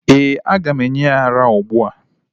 Eeh, aga m enye ya ara ugbu a.